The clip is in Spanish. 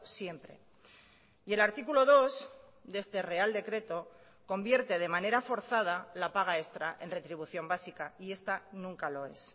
siempre y el artículo dos de este real decreto convierte de manera forzada la paga extra en retribución básica y esta nunca lo es